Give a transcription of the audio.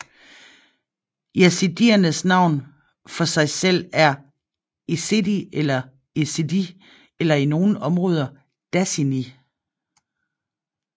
Yazidiernes navn for sig selv er Êzidî eller Êzîdî eller i nogle områder Dasinî